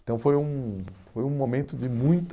Então foi um foi um momento de muita...